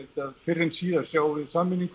að fyrr en síðar sjáum við sameiningu